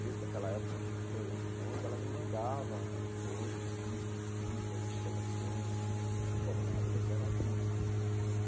desde aquela época até hoje em Londres, ela me mandava as coisas, discos, fitas, informações, que o Bob Marley ainda era vivo.